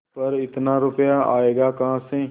पर इतना रुपया आयेगा कहाँ से